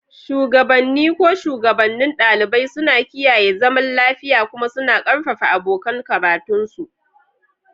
Shugabanni, ko shugabannin ɗalibai, suna kiyaye zaman lafiya kuma suna ƙarfafa abokan karatunsu.